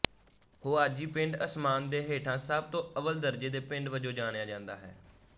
Huaxi ਪਿੰਡ ਅਸਮਾਨ ਦੇ ਹੇਠਾਂ ਸਭ ਤੋਂ ਅੱਵਲ ਦਰਜੇ ਦੇ ਪਿੰਡ ਵਜੋਂ ਜਾਣਿਆ ਜਾਂਦਾ ਹੈ